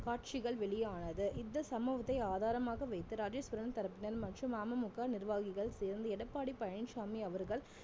காட்சிகள் வெளியானது இந்த சம்பவத்தை ஆதாரமாக வைத்து ராஜேஸ்வரன் தரப்பினர் மற்றும் ஆமமுக நிர்வாகிகள் சேர்ந்து எடப்பாடி பழனிச்சாமி அவர்கள்